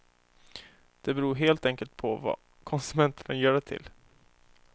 Det beror helt enkelt på vad konsumenterna gör det till.